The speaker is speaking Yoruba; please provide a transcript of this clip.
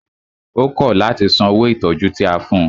Ó kọ̀ láti san owó ìtọjú tí a fún ùn.